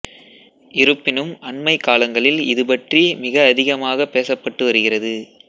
இருப்பினும் அண்மைக் காலங்களில் இதுபற்றி மிக அதிகமாகப் பேசப்பட்டு வருகிறது